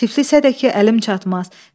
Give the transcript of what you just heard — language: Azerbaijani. Tiflisə də ki, əlim çatmaz.